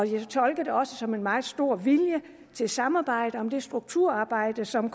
jeg tolker det også som et meget stor vilje til samarbejde om det strukturarbejde som